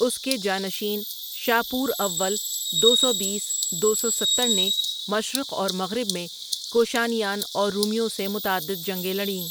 اس کے جانشین، شاپور اول دو سو بیس دو سو ستر نے مشرق اور مغرب میں کوشانیان اور رومیوں سے متعدد جنگیں لڑیں۔